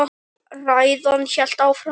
Ræðan hélt áfram: